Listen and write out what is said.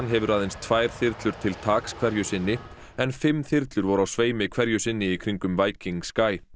hefur aðeins tvær þyrlur til taks hverju sinni en fimm þyrlur voru á sveimi hverju sinni í kring um Viking Sky